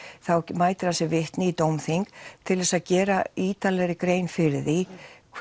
þá mætir hann sem vitni í dómþing til þess að gera ítarlegri grein fyrir því